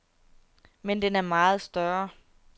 Men den er meget større.